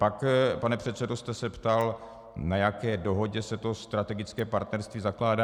Pak, pane předsedo, jste se ptal, na jaké dohodě se to strategické partnerství zakládá.